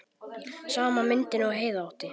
Sama myndin og Heiða átti.